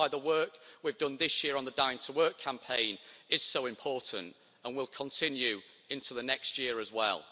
That's why the work we've done this year on the Dying to Work campaign is so important and will continue into next year as well.